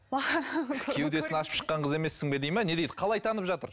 кеудесін ашып шыққан қыз емессің бе дейді ме не дейді қалай танып жатыр